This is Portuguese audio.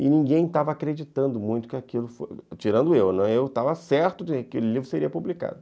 E ninguém estava acreditando muito que aquilo foi, tirando eu, eu estava certo de que aquele livro seria publicado.